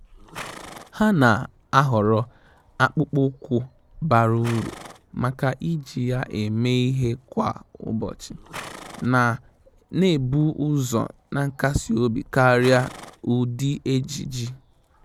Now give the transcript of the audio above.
Há nà-àhọ́rọ́ akpụkpọ́ụkwụ́ bara uru màkà iji ya èmé ìhè kwa ụ́bọ̀chị̀, nà-ébù ụ́zọ̀ na nkasi obi kàrị́a ụ́dị́ ejiji.